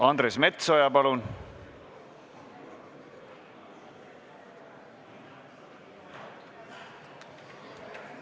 Andres Metsoja, palun!